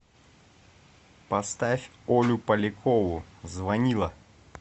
поставь олю полякову звонила